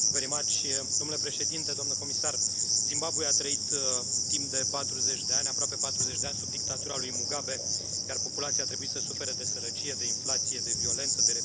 Domnule președinte, domnule comisar, Zimbabwe a trăit timp de patruzeci de ani, aproape patruzeci de ani, sub dictatura lui Mugabe, iar populația a trebuit să sufere de sărăcie, de inflație, de violență, de reprimare.